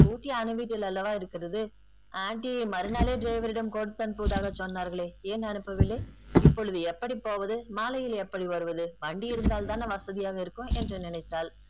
scooty அனு வீட்டில் அல்லவா இருக்கிறது aunty மறுநாளே ஜோவரிடம் கொடுத்து அனுப்புவதாக சொன்னார்களே ஏன் அனுப்பவில்லை இப்பொழுது எப்படி போவது மாலையில் எப்படி வருவது வண்டி இருந்தால் தானே வசதியாக இருக்கும் என்று நினைத்தால்.